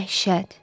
Dəhşət.